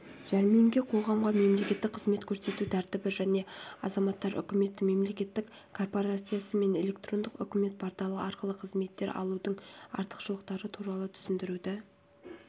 жәрмеңке қоғамға мемлекеттік қызмет көрсету тәртібі және азаматтар үкіметі мемлекеттік корпорациясы мен электрондық үкімет порталы арқылы қызметтер алудың артықшылықтары туралы түсіндіруді